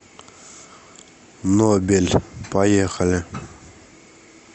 нобель поехали